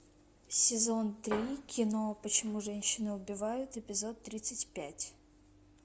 сезон три кино почему женщины убивают эпизод тридцать пять